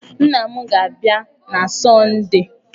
Nna m ga-abịa na Sọndee.